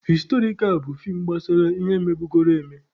Historikal bụ fiim gbasara ihe mebugoro eme.